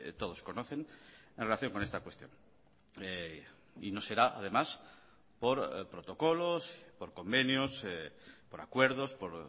todos conocen en relación con esta cuestión y no será además por protocolos por convenios por acuerdos por